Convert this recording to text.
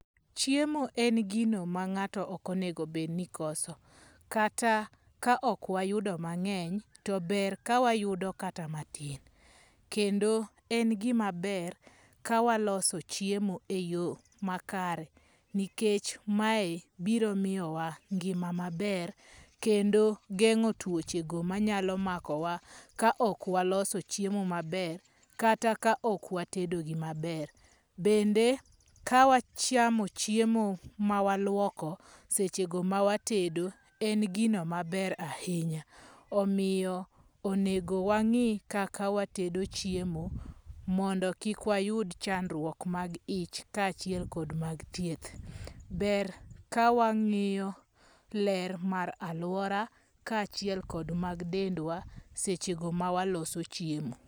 Chiemo en gino ma ng'ato ok onego bed ni koso. Kata ka ok wayudo mang'eny to ber ka wayudo kata matin, kendo en gima ber ka waloso chiemo e yo makare nikech mae biro miyowa ngima maber kendo, geng'o tuoche go manyalo mako wa ka ok waloso chiemo maber kata ka ok watedo gi maber. Bende ka wachamo chiemo ma waluoko seche go ma watedo en gino maber ahinya. Omiyo onego wang'i kaka watedo chiemo mondo mi kik wayud chandruok mag ich kaachiel kod mag thieth ber. Ka wang'iyo ler mar aluora kaachiel kod mag dendwa ka waloso chiemo.